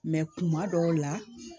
kuma dɔw la